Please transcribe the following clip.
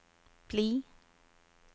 bli